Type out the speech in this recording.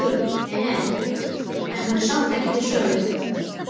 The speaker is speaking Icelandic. Nei, nei, en hún er samt ekki til sölu.